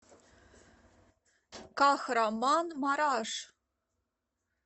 кахраманмараш